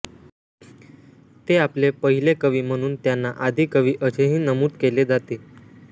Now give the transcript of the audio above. ते आपले पहिले कवी म्हणून त्यांना आदी कवी असे ही नमूद केले जाते